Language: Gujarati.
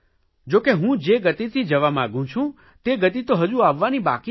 જો કે હું જે ગતિથી જવા માગું છું તે ગતિ તો હજુ આવવાની બાકી છે